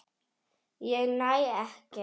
Ég næ ekki.